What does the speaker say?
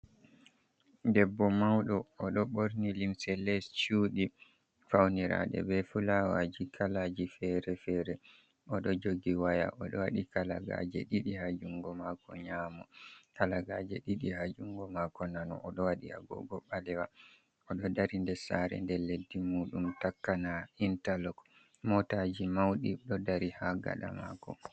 Debbo mawɗo, o ɗo ɓorni limse les cuudi, fawniraaɗe bee fulaawaaji kalaaji feere-feere. O ɗo jogi waya, o ɗo waɗi kalagaaje ɗiɗi ha junngo maako nyaamo, kalagaaje ɗiɗi ha junngo maako nano. O ɗo waɗi agoogo ɓaleewa, o ɗo dari nder saare nde leddi muuɗum takkanaa intalok, mootaaji mawɗi ɗo dari ha gaɗa maako.